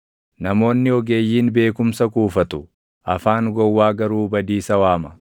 Namoonni ogeeyyiin beekumsa kuufatu; afaan gowwaa garuu badiisa waama.